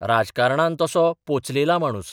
राजकारणांत तसो 'पोचलेला माणूस '.